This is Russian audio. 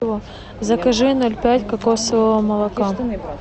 закажи ноль пять кокосового молока